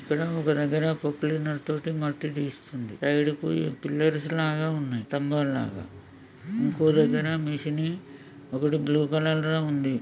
ఇక్కడ ఒక దగ్గర ప్రోక్ లైనర్ తోని మట్టి తీస్తుందిసైడ్ కు పిల్లర్స్ లాగా ఉన్నాయి స్తంభాల్లాగాఇంకో దగ్గర మెషిన్ని ఒకటి బ్లూ కలర్ లా ఉంది